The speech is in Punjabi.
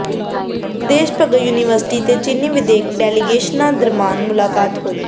ਦੇਸ਼ ਭਗਤ ਯੂਨੀਵਰਸਿਟੀ ਤੇ ਚੀਨੀ ਵਿਦਿਅਕ ਡੈਲੀਗੇਸ਼ਨਾਂ ਦਰਮਿਆਨ ਮੁਲਾਕਾਤ ਹੋਈ